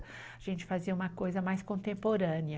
A gente fazia uma coisa mais contemporânea.